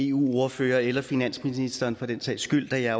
eu ordførere eller finansministeren for den sags skyld da jeg